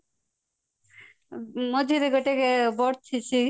ମଝିରେ ଗୋଟେ